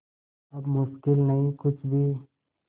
अब मुश्किल नहीं कुछ भी